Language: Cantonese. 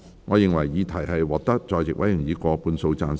我認為議題獲得在席委員以過半數贊成。